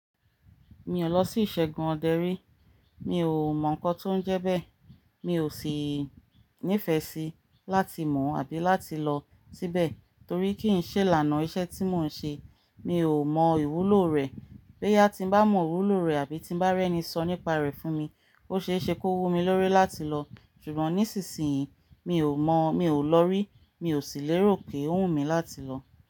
Mi ò lọ sí ìṣẹ́gun ọdẹrí, mi ò mọ̀ nǹkan tó ń jẹ bẹ́ẹ̀, mi ò sì nífẹ̀ẹ́ síi láti mọ̀ àbí láti lọ síbẹ̀ torí kí ń ṣe ìlànà iṣẹ́ tí mò ń ṣe. Mi ò mọ ìwúlò rẹ̀, bóyá tí n bá mọ ìwúlò rẹ̀ àbí tí n bá rí ẹni sọ nípa rẹ̀ fún mi, ó ṣe é ṣe kó wù mí lórí láti lọ. Ṣùgbọ́n nísinsìnyí mi ò mọ̀, mi ò lọ rí, mi ò sì lérò pé ó wù mí láti lọ.